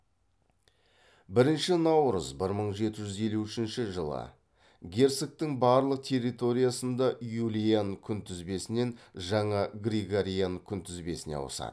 бірінші наурыз бір мың жеті жүз елу үшінші жылы герцогтың барлық территориясында юлиан күнтізбесінен жаңа григориан күнтізбесіне ауысады